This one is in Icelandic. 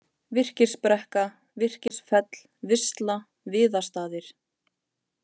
Virkisbrekka, Virkisfell, Visla, Viðastaðir